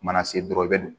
Mana se dɔrɔn i bɛ